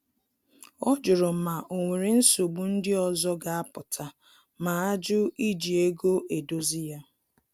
Ọ jụrụ ma o nwere nsogbu ndị ọzọ ga apụta ma ajụ iji ego edozi ya